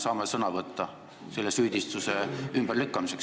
Kas me saame selle süüdistuse ümberlükkamiseks sõna võtta?